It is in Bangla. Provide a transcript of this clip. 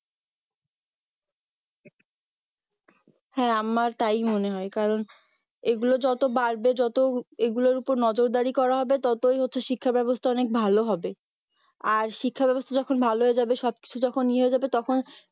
হ্যাঁ আমার তাই মনে হয় কারণ এগুলো যত বাড়বে যত এগুলোর ওপর নজরদারি করা হবে ততই হচ্ছে শিক্ষা ব্যবস্থা অনেক ভালো হবে আর শিক্ষা ব্যবস্থা যখন ভালো হয়ে যাবে সব কিছু যখন ইয়ে হয়ে যাবে তখন